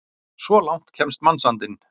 Svo langt kemst mannsandinn!